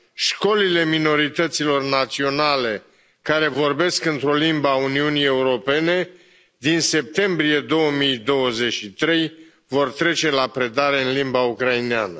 școlile minorităților naționale care vorbesc într o limbă a Uniunii Europene, din septembrie 2023, vor trece la predarea în limba ucraineană.